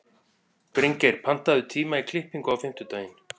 Bryngeir, pantaðu tíma í klippingu á fimmtudaginn.